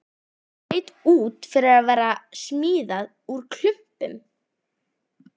Leit út fyrir að vera smíðað úr klumpum.